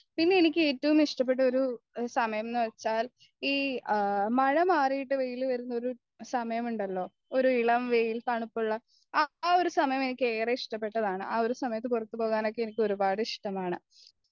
പിന്നെ എനിക്ക് ഏറ്റവും ഇഷ്ടപ്പെട്ട ഒരു സമയമെന്നുവെച്ചാൽ ഈ ആ മഴ മാറീട്ട് വെയ്യിലുവരുന്നൊരു സമയമുണ്ടല്ലോ ഒരു ഇളംവെയിൽ തണുപ്പുള്ള ആ ഒരു സമയം എനിക്ക് ഏറെ ഇഷ്ടപ്പെട്ടതാണ് ആ ഒരു സമയത്ത് പുറത്തുപോകാനൊക്കെ എനിക്ക് ഒരുപാട്‌ ഇഷ്ടമാണ്